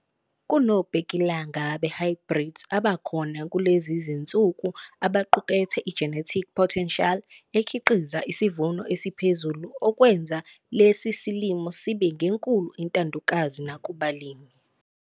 Kunobbhekilanga be-hybrids abakhona kulezi zinsuku abaqukethe i-genetic potential ekhiqiza isivuno esiphezulu okwenza le silimo sibe ngenkulu intandokazi nakubalimi.